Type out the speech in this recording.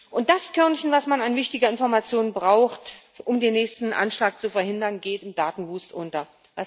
Und das Körnchen, was man an wichtiger Information braucht, um den nächsten Anschlag zu verhindern, geht im Datenwust unter.